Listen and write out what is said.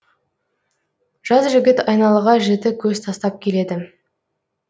жас жігіт айналаға жіті көз тастап келеді